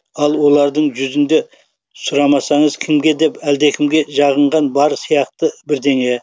ал олардың жүзінде сұрамаңыз кімге деп әлдекімге жағынған бар сияқты бірдеңе